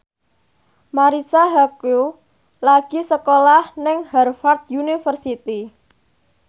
Marisa Haque lagi sekolah nang Harvard university